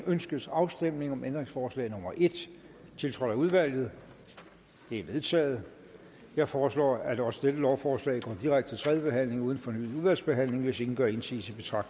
ønskes afstemning om ændringsforslag nummer en tiltrådt af udvalget det er vedtaget jeg foreslår at også dette lovforslag går direkte til tredje behandling uden fornyet udvalgsbehandling hvis ingen gør indsigelse betragter